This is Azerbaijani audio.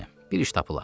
Bir iş tapılar.